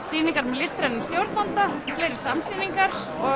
sýningar með listrænum stjórnanda fleiri samsýningar og